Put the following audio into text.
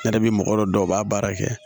Ne yɛrɛ bi mɔgɔ dɔ b'a baara kɛ